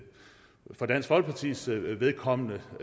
for dansk folkepartis vedkommende